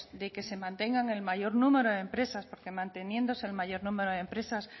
de que se mantenga el mayor número empresas porque manteniéndose el mayor número de empresas